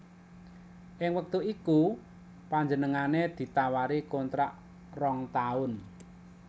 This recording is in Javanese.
Ing wektu iku panjenengané ditawari kontrak rong taun